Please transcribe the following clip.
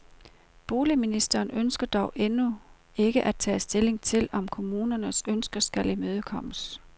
Boligministeren ønsker dog endnu ikke at tage stilling til, om kommunernes ønske skal imødekommes.